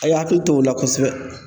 A' y'a hakili t'o la kosɛbɛ.